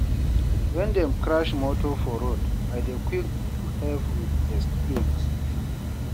When dem crash motor for road, I dey quick to help with first aid.